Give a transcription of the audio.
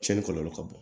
Tiɲɛni kɔlɔlɔ ka bon